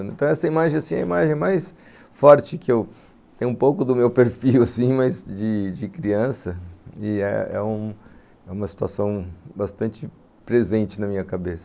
Então, essa imagem assim é mais é mais forte que eu tenho, um pouco do meu perfil assim, de criança, e é uma situação bastante presente na minha cabeça.